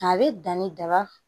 A bɛ danni daba